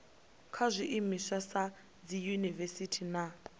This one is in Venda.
kha zwiimiswa sa dziyunivesiti na